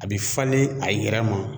A bi falen a yɛrɛ ma.